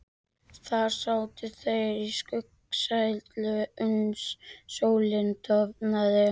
Þar sátu þeir í skuggsælu uns sólin dofnaði.